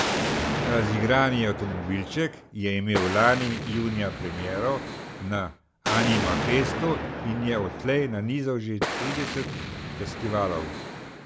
Razigrani avtomobilček je imel lani junija premiero na Animafestu in je odtlej nanizal že trideset festivalov.